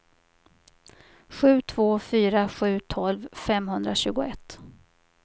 sju två fyra sju tolv femhundratjugoett